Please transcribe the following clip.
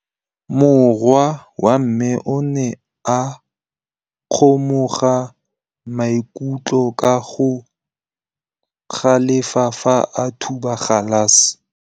Morwa wa me o ne a kgomoga maikutlo ka go galefa fa a thuba galase.